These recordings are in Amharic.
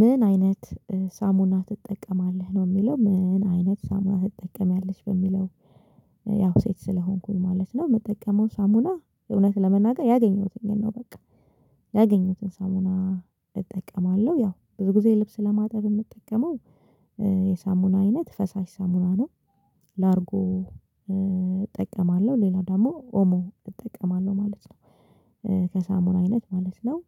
ምን አይነት ሳሙና ትጠቀማለህ ነው የሚለው ምን አይነት ሳሙና ትጠቀሚያለች በሚለው? ያው ሴት ስለሆንኩኝ ማለት ነው የምጠቀመው ሳሙና እውነት ለመናገር ያገኘሁትን ነው። በቃ ያገኘሁትን ሳሙና እጠቀማለሁ ያው ብዙ ጊዜ ልብስ ለማጠብ የምጠቀመው የሳሙና አይነት ፈሳሽ ሳሙና ነው። ላርጎ እጠቀማለሁ ሌላው ደግሞ ኦሞ እጠቀማለሁ ማለት ነው። ከሳሙና አይነት ማለት ነው።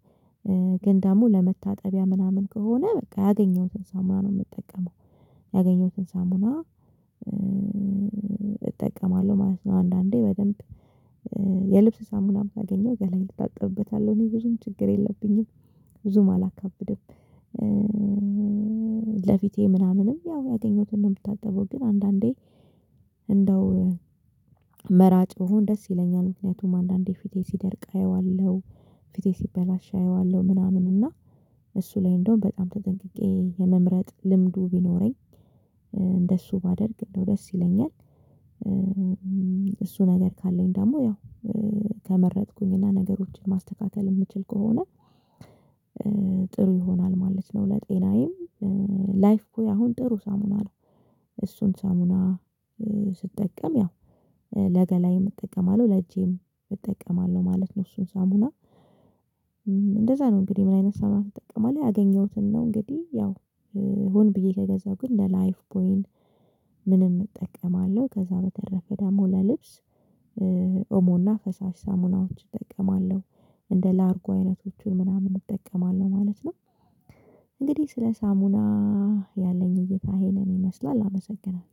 ግን ደግሞ ለመታጠቢያ ምናምን ከሆነ በቃ ያገኘሁትን ሳሙና ነው የምጠቀመው ያገኘሁትን ሳሙና እጠቀማለሁ ማለት ነው። አንዳንዴ በደንብ የልብስ ሳሙናም ባገኘው ገላየን እታጠብበታለሁ እኔ ብዙም ችግር የለብኝም። ብዙም አላካብድም። ለፊቴ ምናምንም ያው ያገኘሁትን ነው የምታጠበው ግን አንዳንዴ እንደው መራጭ ብሆን ደስ ይለኛል ምክንያቱም አንዳንዴ ፊቴ ሲደርቅ አየዋለሁ። ፊቴ ሲበላሽ አየዋለሁ ምናምን እና እሱ ላይ እንደውም በጣም ተጠንቅቄ የመምረጥ ልምዱ ቢኖረኝ። እንደሱ ባደርግ እንደው ደስ ይለኛል። እሱ ነገር ካለኝ ደግሞ ያው ከመረጥኩኝ እና ነገሮችን ማስተካከል የምችል ከሆነ። ጥሩ ይሆናል ማለት ነው። ለጤናዬም ላይፍ ቦይ አሁን ጥሩ ሳሙና ነው። እሱን ሳሙና ስትጠቀም ያው ለገላዬም እጠቀማለሁ ለእጄም እጠቀማለሁ ማለት ነው። እሱን ሳሙና እንደዛ ነው እንግዲህ ምን አይነት ሳሙና ተጠቀማለህ? ያገኘሁትን ነው። እንግዲህ ያው ሁን ብዬ ከገዛሁ ግን እነ ላይፍ ቦይ ምንም እጠቀማለሁ ከዛ በተረፈ ደግሞ ለልብስ ኦሞና ፈሳሽ ሳሙናዎች እጠቀማለሁ። እንደ ላርጎ አይነቶቹን ምናምን እጠቀማለሁ ማለት ነው። እንግዲህ ስለ ሳሙና ያለኝ እይታ ይሄንን ይመስላል አመሰግናለሁ።